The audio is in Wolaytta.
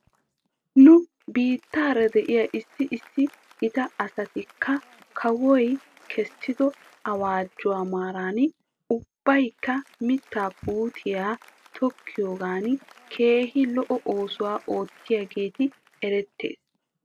Nu biittaara de'iyaa issi issi gita asatikka kawoy kaessido awaajuwaa maaran ubbaykka mittaa puutiyaa tokkiyoogan keehi lo'o oosuwaa oottidoogee erettes.